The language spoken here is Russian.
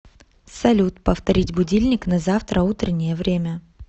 салют повторить будильник на завтра утреннее время